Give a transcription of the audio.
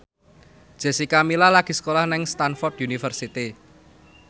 Jessica Milla lagi sekolah nang Stamford University